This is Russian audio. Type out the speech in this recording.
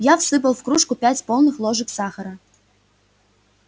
я всыпал в кружку пять полных ложек сахара